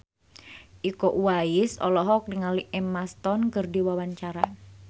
Iko Uwais olohok ningali Emma Stone keur diwawancara